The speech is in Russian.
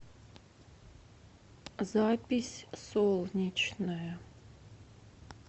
запись солнечное